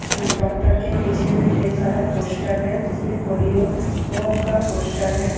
अ doctor के पीछ में ढेर सारा पोस्टर है जिसमें पोलियो का पोस्टर है।